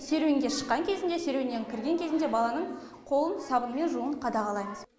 серуенге шыққан кезінде серуеннен кірген кезінде баланың қолын сабынмен жууын қадағалаймыз